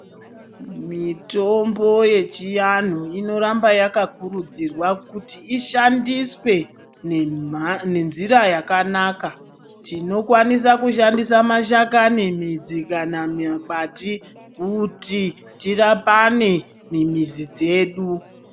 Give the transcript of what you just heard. Mitombo ye chianhu inoramba yaka kurudzirwa kuti ishandiswe ne nzira yakanaka tino kwanisa kushandisa mashakani midzi kana magabati kuti ti rapane mu mizi dzedu.